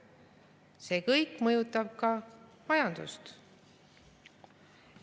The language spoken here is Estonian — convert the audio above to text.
See kõik mõjutab ka majandust.